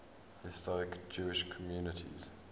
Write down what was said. historic jewish communities